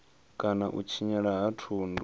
kana u tshinyala ha thundu